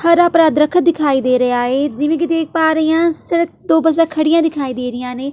ਹਰਾ ਭਰਾ ਦਰਖਤ ਦਿਖਾਈ ਦੇ ਰਿਹਾ ਏ ਜਿਵੇਂ ਕਿ ਦੇਖ ਪਾ ਰਹੀ ਹਾਂ ਸੜਕ ਦੋ ਬੱਸਾਂ ਖੜ੍ਹੀਆਂ ਦਿਖਾਈ ਦੇ ਰਹੀਆਂ ਨੇ।